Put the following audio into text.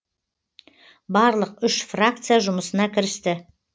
барлық үш фракция жұмысына кірісті